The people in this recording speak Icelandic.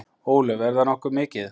Ólöf: Er það ekki nokkuð mikið?